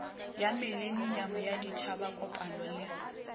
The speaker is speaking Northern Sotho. ya mileniamo ya ditšhabakopano le